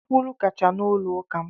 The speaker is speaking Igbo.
Nkwulu kacha n’ụlọ ụka m.